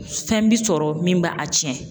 Fɛn bi sɔrɔ min b'a a cɛn.